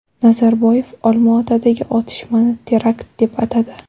Nazarboyev Olmaotadagi otishmani terakt deb atadi.